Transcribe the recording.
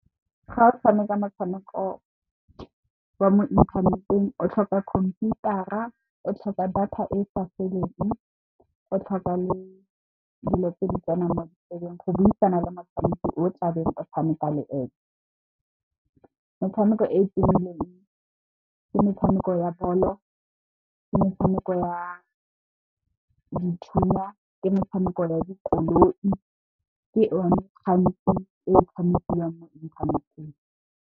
Ga o tshameka motshameko wa mo inthaneteng o tlhoka khomputara, o tlhoka data e sa feleng, o tlhoka le dilo tse di tsenang mo ditsebeng go buisana le motshamiki o tlabe o tshameka le ene. Metshameko e e tumileng ke metshameko ya bolo, ke metshameko ya dithunya le metshameko ya dikoloi ke one gantsi e tshamekiwang mo inthaneteng.